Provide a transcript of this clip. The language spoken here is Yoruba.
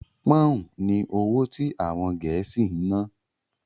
Pọ́ùn ni owó tí àwọn Gẹ̀ẹ́sì ń ná.